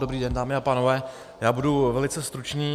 Dobrý den, dámy a pánové, já budu velice stručný.